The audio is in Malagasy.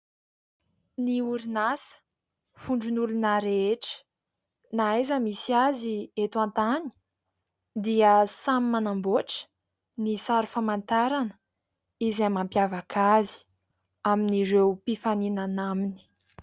Ny orinasa vondron'olona rehetra. Na aiza misy azy eto an-tany dia samy manamboatra ny sary famantarana izay mampiavaka azy amin'ireo mpifaninana aminy.